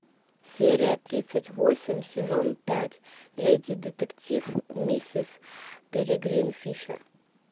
серия тридцать восемь сезон пять леди детектив мисс перегрин фишер